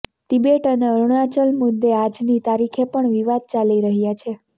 Tibet અને અરુણાચલ મુદ્દે આજની તારીખે પણ વિવાદ ચાલી રહ્યા છે